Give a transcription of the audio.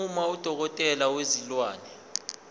uma udokotela wezilwane